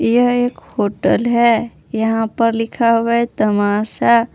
यह एक होटल है यहां पर लिखा हुआ है तमाशा।